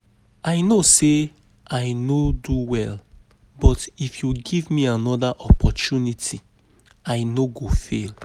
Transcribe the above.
I know say I no do well but if you give me another opportunity I no go fail